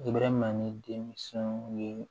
I bɛ ma ni denmisɛnw ye